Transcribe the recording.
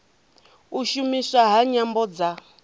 u shumiswa ha nyambo dza